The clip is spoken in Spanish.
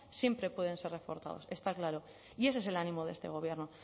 siempre pueden ser reforzados está claro y ese es el ánimo de este gobierno